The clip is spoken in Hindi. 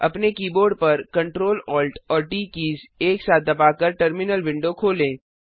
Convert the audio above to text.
अपने कीबोर्ड पर Ctrl Alt और ट कीज़ एक साथ दबाकर टर्मिनल विंडो खोलें